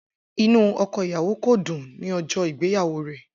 Inu ọkọ iyawo ko dun ni ọjọ igbeyawo rẹ.